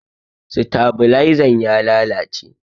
Stabalaizan ya lalace.